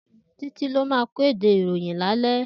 Titi ló má kédé iróyin lálè